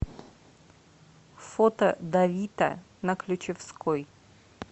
фото давита на ключевской